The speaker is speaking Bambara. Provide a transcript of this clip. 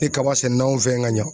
Ni kaba sɛnɛn'anw fɛ yan ka ɲa